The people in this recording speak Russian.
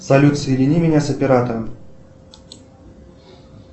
салют соедини меня с оператором